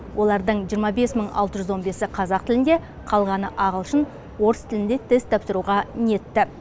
олардың жиырма бес мың алты жүз он бесі қазақ тілінде қалғаны ағылшын орыс тілінде тест тапсыруға ниетті